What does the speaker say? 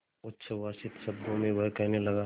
उच्छ्वसित शब्दों में वह कहने लगा